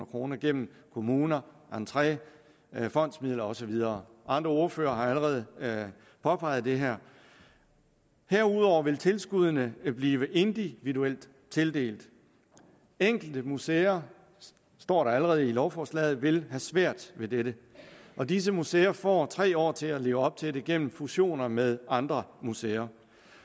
kroner gennem kommuner entré fondsmidler og så videre andre ordførere har allerede påpeget det her herudover vil tilskuddene blive individuelt tildelt enkelte museer står der allerede i lovforslaget vil have svært ved dette og disse museer får tre år til at leve op til det gennem fusioner med andre museer